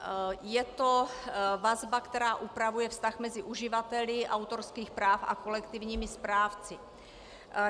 Je to vazba, která upravuje vztah mezi uživateli autorských práv a kolektivními správci.